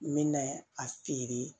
N bɛ na a feere